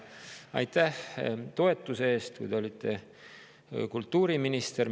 Aitäh toetuse eest, kui te olite kultuuriminister!